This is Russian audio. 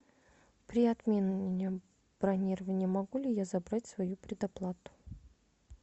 при отмене бронирования могу ли я забрать свою предоплату